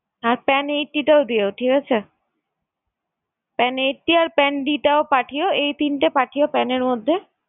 আর pan eighty টাও দিও ঠিক আছে। pan eighty আর pan d টাও পাঠিও, এই তিনটা পাঠিও pan এর মধ্যে।